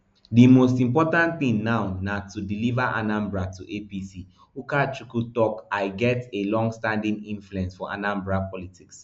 di most important thing now na to deliver anambra to apc ukachukwu tok i get a longstanding influence for anambra politics